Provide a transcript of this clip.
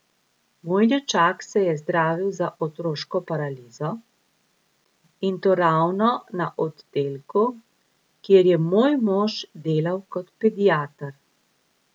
Moj nečak se je zdravil za otroško paralizo, in to ravno na oddelku, kjer je moj mož delal kot pediater.